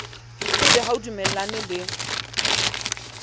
ebe ha o dumellane le